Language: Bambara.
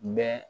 Bɛ